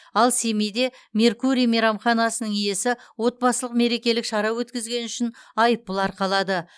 ал семейде меркурий мейрамханасының иесі отбасылық мерекелік шара өткізгені үшін айыппұл арқалады